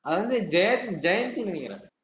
அது வந்து, ஜெய~ ஜெயந்தின்னு நினைக்கிறே